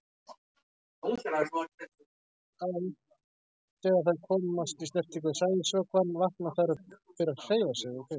Þegar þær komast í snertingu við sæðisvökvann vakna þær og byrja að hreyfa sig.